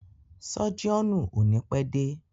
Sọ́jíọ̀nù o ni pẹ́ dé.